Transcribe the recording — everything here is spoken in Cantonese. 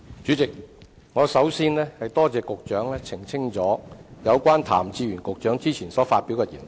主席，首先，我多謝局長澄清有關譚志源局長之前所發表的言論。